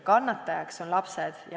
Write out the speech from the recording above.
Kannatajaks on lapsed.